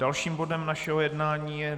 Dalším bodem našeho jednání je